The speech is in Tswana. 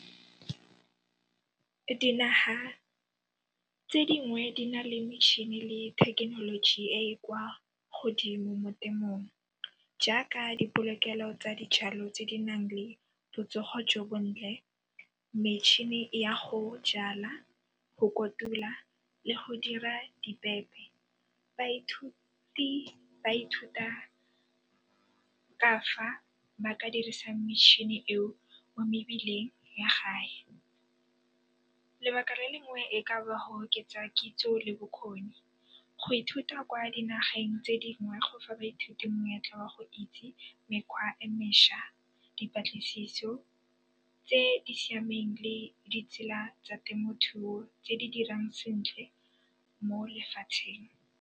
Dinaga tse dingwe di nale mitšhini le thekenoloji e e kwa godimo mo temong jaaka dipolokelo tsa dijalo tse di nang le botsogo jo bontle, metšhini ya go jala, go kotula le go dira dibepe. Baithuti ba ithuta ka fa ba ka dirisang metšhini eo mo mebileng ya gae. Lebaka le lengwe e ka ba go oketsa kitso le bokgoni. Go ithuta kwa dinageng tse dingwe go fa baithuti monyetla wa go itse mekgwa e meša, dipatlisiso tse di siameng le ditsela tsa temothuo tse di dirang sentle mo lefatsheng.